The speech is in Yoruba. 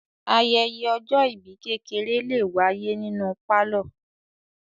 Ayẹyẹ ọjọ́-ìbí kékeré lè wáyé nínú pálọ̀.